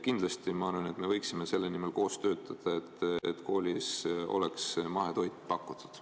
Kindlasti, ma arvan, me võiksime selle nimel koos töötada, et koolis mahetoitu pakutaks.